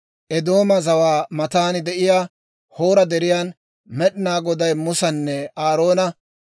Eedooma zawaa matan de'iyaa Hoora Deriyan, Med'inaa Goday Musanne Aaroona,